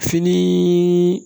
Fini